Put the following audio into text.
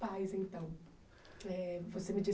Pais então eh você me